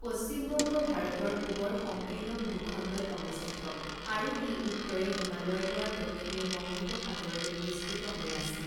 পশ্চিমবংগ ভাৰতৰ পূৱৰ সংকীৰ্ণ ভূখণ্ডত অৱস্থিত আৰু ই উত্তৰে হিমালয়ৰ পৰা দক্ষিণে বঙ্গোপসাগৰলৈ বিস্তৃত হৈ আছে।